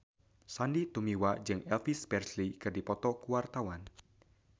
Sandy Tumiwa jeung Elvis Presley keur dipoto ku wartawan